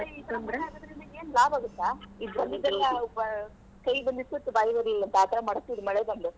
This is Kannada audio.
ಮಳಿ ಆಗುದ್ರಿಂದ ಏನ್ ಲಾಭ ಆಗತ್ತಾ . ಕೈಗ್ ಬಂದಿದ್ ತುತ್ತು ಬಾಯ್ಗ್ ಬರ್ಲಿಲ್ಲ ಅಂತ ಆ ಥರ ಮಾಡುಸ್ತಿದೆ ಮಳೆ ಬಂದು.